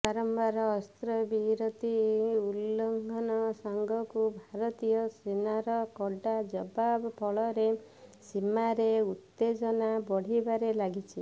ବାରମ୍ବାର ଅସ୍ତ୍ରବିରତି ଉଲ୍ଲଂଘନ ସାଙ୍ଗକୁ ଭାରତୀୟ ସେନାର କଡ଼ା ଜବାବ ଫଳରେ ସୀମାରେ ଉତ୍ତେଜନା ବଢ଼ିବାରେ ଲାଗିଛି